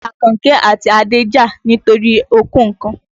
Àkànkẹ́ àti Adé ń jà nítorí okòó kan.